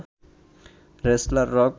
wrestler rock